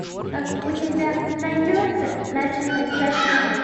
а у тебя найдется ночной кошмар